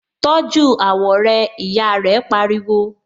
Tọ́jú àwọ̀ rẹ! Ìyá rẹ pariwo.